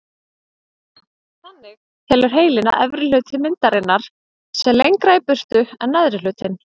Þannig telur heilinn að efri hluti myndarinnar sé lengra í burtu en neðri hlutinn.